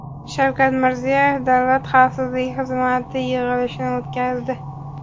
Shavkat Mirziyoyev Davlat xavfsizlik xizmati yig‘ilishini o‘tkazdi.